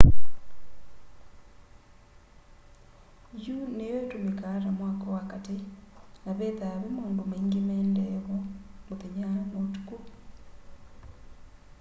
yũ nĩyo ĩtũmĩkaa ta mwako wa katĩ na vethaa ve maũndũ maingĩ maendee vo mũthenya na ũtũkũ